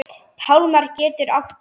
Pálmar getur átt við